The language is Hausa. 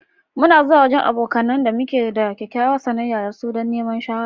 Mu na zuwa wajen abokanen da muke da kyakkyawar sanayya da su dan niman shawara.